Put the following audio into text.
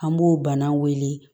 An b'o bana wele